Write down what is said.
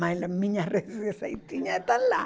Mas as minhas receitinhas tá lá